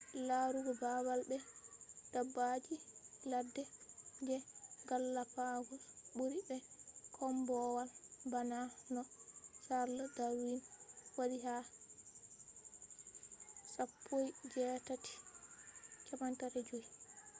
larugo babal be dabbaji ladde je galapagos buri be kombowal bana no charles darwin wadi ha 1835